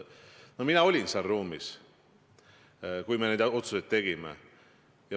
Mina olin seal ruumis, kui me neid otsuseid tegime.